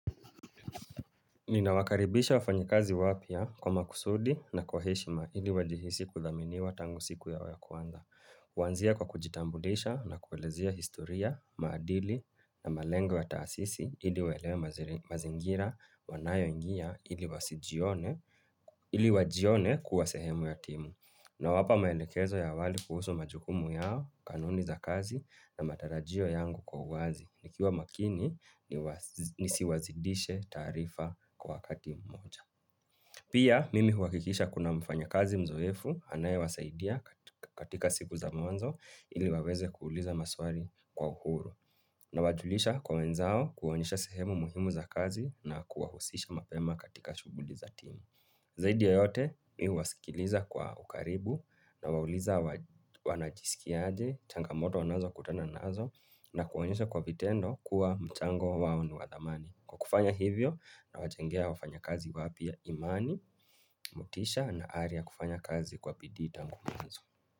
Nina wakaribisha wafanya kazi wapya kwa makusudi na kwa heshima ili wajihisi kudhaminiwa tangu siku yao ya kwanza. Kuanzia kwa kujitambulisha na kuelezea historia, maadili na malengwa ya taasisi ili waelewa mazingira wanayo ingia ili wajione kuwa sehemu ya timu. Na wapa maelekezo ya wazi kuhusu majukumu yao, kanuni za kazi na matarajio yangu kwa uwazi, nikiwa makini nisiwazidishe taarifa kwa wakati mmoja. Pia, mimi huhakikisha kuna mfanya kazi mzoefu, anaye wasaidia katika siku za mwanzo ili waweze kuuliza maswali kwa uhuru. Na wajulisha kwa wenzao kuonyesha sehemu muhimu za kazi na kuwahusisha mapema katika shuguli za timu. Zaidi ya yote mimi huwasikiliza kwa ukaribu nawauliza wanajisikia aje, changamoto wanazo kutana nazo na kuwaonyesha kwa vitendo kuwa mchango wao ni wadhamani. Kwa kufanya hivyo nawajengea wafanya kazi wapia imani, motisha na aria kufanya kazi kwa bidii tango mwanzo.